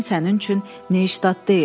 Berlin sənin üçün Neştat deyil.